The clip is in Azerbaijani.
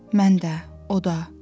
Mən də, o da.